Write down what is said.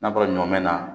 N'a bɔra ɲɔ mɛn na